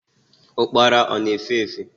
Ukpara ọ na-efe efe?